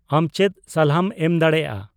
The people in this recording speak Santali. ᱟᱢ ᱪᱮᱫ ᱥᱟᱞᱦᱟᱢ ᱮᱢ ᱫᱟᱲᱮᱭᱟᱜᱼᱟ